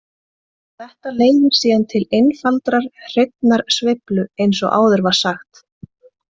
Þetta leiðir síðan til einfaldrar hreinnar sveiflu eins og áður var sagt.